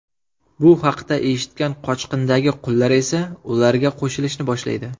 Bu haqda eshitgan qochqindagi qullar esa ularga qo‘shilishni boshlaydi.